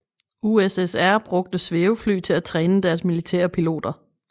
USSR brugte svævefly til at træne deres militære piloter